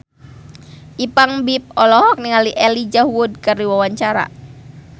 Ipank BIP olohok ningali Elijah Wood keur diwawancara